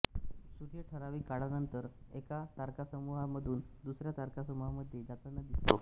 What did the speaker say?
सूर्य ठरावीक काळानंतर एका तारकासमूहामधून दुसऱ्या तारकासमूहामध्ये जातांना दिसतो